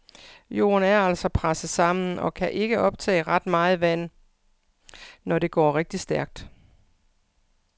Jorden er altså presset sammen og kan ikke optage ret meget vand, når det går rigtig stærkt.